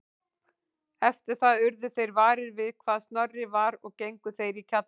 Eftir það urðu þeir varir við hvar Snorri var og gengu þeir í kjallarann